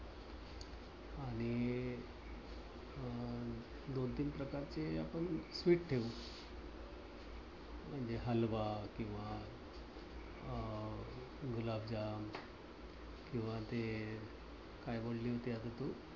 दोन तीन प्रकारचे आपण sweet ठेवू. म्हणजे हलवा किंवा अं गुलाबजाम किंवा ते काय म्हणली होती आता तू?